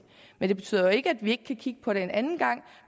det betyder jo ikke at vi ikke kan kigge på det en anden gang